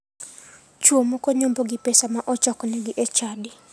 Chuo moko nyombo gi pesa ma ochok negi e chadi.